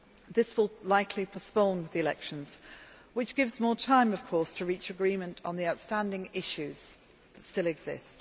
This will likely postpone the elections, which gives more time, of course, to reach agreement on the outstanding issues that still exist.